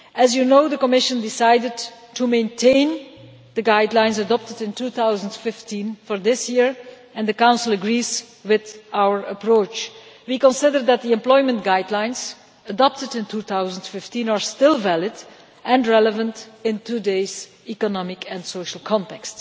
As you know, the Commission decided to maintain the guidelines adopted in 2015 for this year and the Council agrees with our approach. We consider that the employment guidelines adopted in 2015 are still valid and relevant in today's economic and social context.